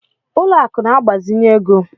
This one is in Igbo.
Ụlọ akụ̀ na-agbazinye ego.